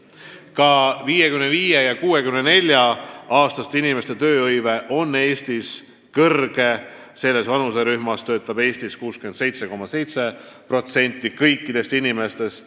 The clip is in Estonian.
Ka 55–64-aastaste inimeste tööhõive on Eestis suur: selles vanuserühmas on tööl käijaid 67,7%.